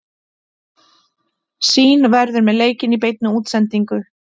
Sýn verður með leikinn í beinni útsendingu.